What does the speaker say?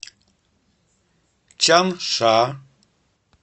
чанша